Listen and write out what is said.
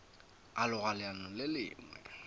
a loga leano le lengwe